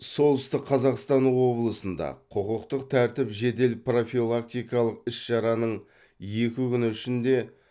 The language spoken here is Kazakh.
солтүстік қазақстан облысында құқықтық тәртіп жедел профилактикалық іс шараның екі күні ішінде